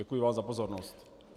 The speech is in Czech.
Děkuji vám za pozornost.